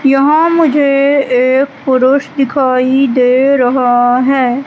यहां मुझे एक पुरुष दिखाई दे रहा है।